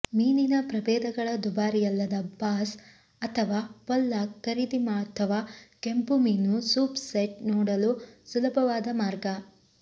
ಮೀನಿನ ಪ್ರಭೇದಗಳ ದುಬಾರಿಯಲ್ಲದ ಬಾಸ್ ಅಥವಾ ಪೊಲ್ಲಾಕ್ ಖರೀದಿ ಅಥವಾ ಕೆಂಪು ಮೀನು ಸೂಪ್ ಸೆಟ್ ನೋಡಲು ಸುಲಭವಾದ ಮಾರ್ಗ